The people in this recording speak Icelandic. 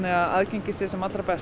að aðgengi sé sem allra best